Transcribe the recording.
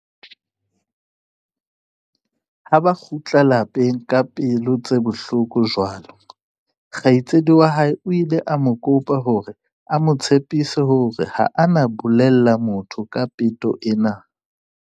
Ha ba kgutlela lapeng ka pelo tse bohloko jwalo, kgaitsedi wa hae o ile a mo kopa hore a mo tshepise hore ha a na bolella motho ka peto ena.